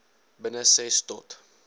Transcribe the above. binne ses tot